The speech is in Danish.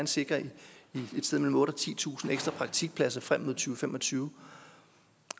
sikre et sted mellem otte tusind og titusind ekstra praktikpladser frem mod to fem og tyve